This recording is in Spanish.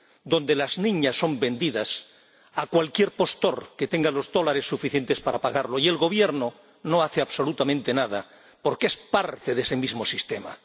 Donde las niñas son vendidas a cualquier postor que tenga los dólares suficientes para pagarlo y el Gobierno no hace absolutamente nada porque es parte de ese mismo sistema.